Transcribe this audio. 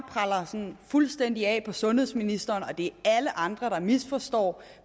sådan fuldstændig af på sundhedsministeren og det er alle andre der misforstår